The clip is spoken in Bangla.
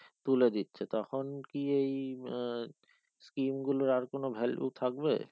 তুলে দিচ্ছে তখন কি ওই আহ scheme গুলো আর কোনো value থাকবে